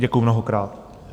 Děkuju mnohokrát.